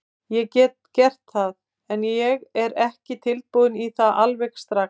Ég get gert það, en ég er ekki tilbúinn í það alveg strax.